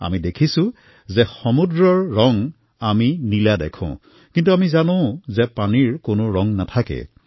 আমি দেখিছোঁ যে সাগৰৰ ৰং নীলা দেখি কিন্তু আমি নিজৰ দৈনিক জীৱনৰ অনুভৱৰ পৰা গম পাওঁ যে পানীৰ কোনো ৰং নাথাকে